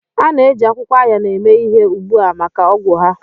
A na-eji akwụkwọ Ayan eme ihe ugbu a maka ọgwụ ha.